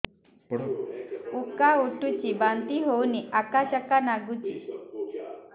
ଉକା ଉଠୁଚି ବାନ୍ତି ହଉନି ଆକାଚାକା ନାଗୁଚି